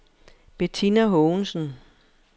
Betina Haagensen